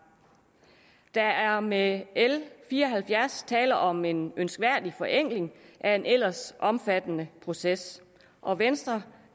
der er med l fire og halvfjerds tale om en ønskværdig forenkling af en ellers omfattende proces og venstre